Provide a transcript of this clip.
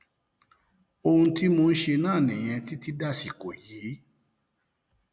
ohun tí mò ń ṣe náà nìyẹn títí dàsìkò yìí